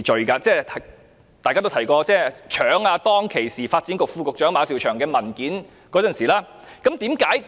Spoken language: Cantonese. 大家剛才也提及，他當時是搶時任發展局副局長馬紹祥的文件。